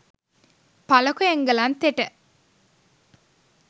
පලකො එංගලන්තෙට